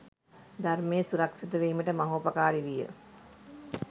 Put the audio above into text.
ධර්මය සුරක්‍ෂිත වීමට මහෝපකාරී විය.